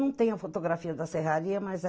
Não tem a fotografia da serraria, mas é...